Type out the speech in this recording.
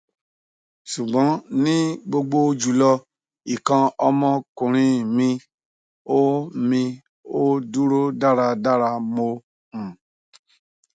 sugbon ni gbogbo julo ikan omo okunrin mi o mi o duro daradara mo um